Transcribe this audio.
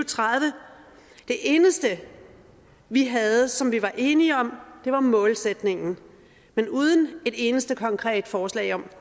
tredive det eneste vi havde som vi var enige om var målsætningen men uden et eneste konkret forslag om